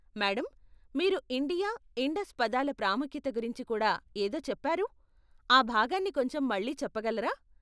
Madam, మీరు India, Indus పదాల ప్రాముఖ్యత గురించి కూడా ఏదో చెప్పారు, ఆ భాగాన్ని కొంచెం మళ్ళీ చెప్పగలరా?